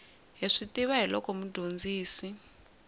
hi swi tiva hiloko mudyondzisi